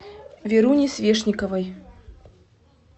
веруне свешниковой